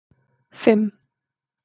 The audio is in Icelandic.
fimm